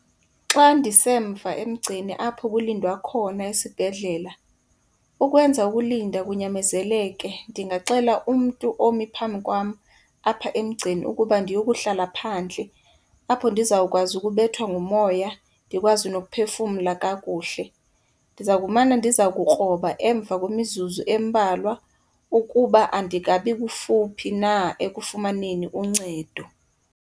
Xa ndisemva emgceni apho kulindwa khona esibhedlela, ukwenza ukulinda kunyamezeleke ndingaxela umntu omi phambi kwam apha emgceni ukuba ndiyokuhlala phandle. Apho, ndizawukwazi ukubethwa ngumoya, ndikwazi nokuphefumla kakuhle. Ndiza kumane ndiza kukroba emva kwemizuzu embalwa ukuba andikabi kufuphi na ekufumaneni uncedo.